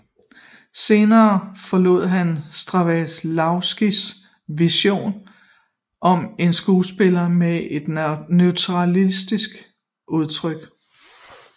Senere forlod han Stanislavskijs vision om en skuespiller med et naturalistisk udtryk